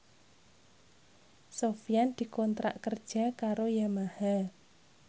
Sofyan dikontrak kerja karo Yamaha